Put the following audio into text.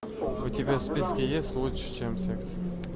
у тебя в списке есть лучше чем секс